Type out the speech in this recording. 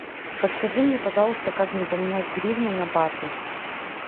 подскажи мне пожалуйста как мне поменять гривны на баты